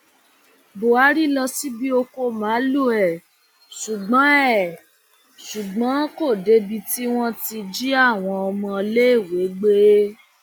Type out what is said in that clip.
buhari lọ síbi ọkọ màálùú ẹ ṣùgbọn ẹ ṣùgbọn kò débi tí wọn ti jí àwọn ọmọléèwé gbé